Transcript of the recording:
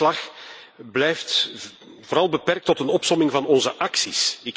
Dit verslag blijft vooral beperkt tot een opsomming van onze acties.